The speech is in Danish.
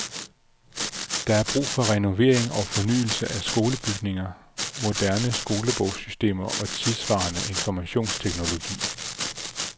Der er brug for renovering og fornyelse af skolebygninger, moderne skolebogssystemer og tidssvarende informationsteknologi.